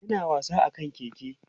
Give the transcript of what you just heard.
yana wasa akan keke